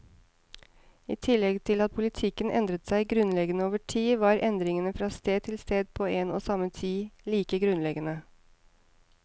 I tillegg til at politikken endret seg grunnleggende over tid, var endringene fra sted til sted på en og samme tid like grunnleggende.